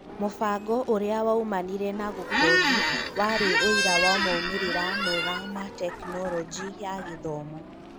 Mũbango ũrĩa waumanire na gũkondi warĩ ũira wa moimĩrĩra mega ma Tekinoronjĩ ya Gĩthomo